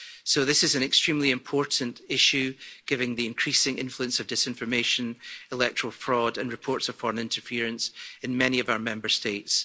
So this is an extremely important issue, given the increasing influence of disinformation, electoral fraud and reports of foreign interference in many of our Member States.